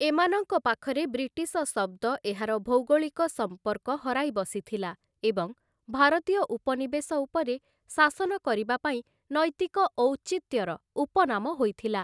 ଏମାନଙ୍କ ପାଖରେ ବ୍ରିଟିଶ ଶବ୍ଦ ଏହାର ଭୌଗୋଳିକ ସମ୍ପର୍କ ହରାଇ ବସିଥିଲା ଏବଂ ଭାରତୀୟ ଉପନିବେଶ ଉପରେ ଶାସନ କରିବା ପାଇଁ ନୈତିକ ଔଚିତ୍ୟର ଉପନାମ ହୋଇଥିଲା ।